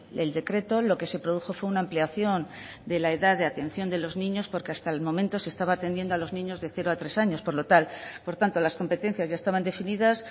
el decreto lo que se produjo fue una ampliación de la edad de atención de los niños porque hasta el momento se estaba atendiendo a los niños de cero a tres años por lo tanto las competencias ya estaban definidas